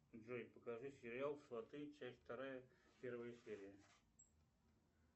джой покажи сериал сваты часть вторая первая серия